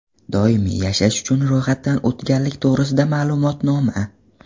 Doimiy yashash uchun ro‘yxatdan o‘tganlik to‘g‘risida ma’lumotnoma.